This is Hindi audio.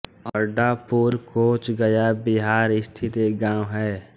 अड्डापुर कोंच गया बिहार स्थित एक गाँव है